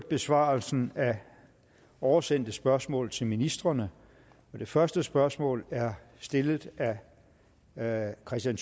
besvarelse af oversendte spørgsmål til ministrene det første spørgsmål er stillet af herre kristian